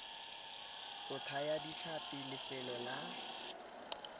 go thaya ditlhapi lefelo la